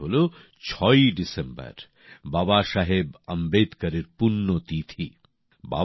এই দিনটি হল ৬ই ডিসেম্বর বাবাসাহেব আম্বেদকর এর পূণ্য তিথি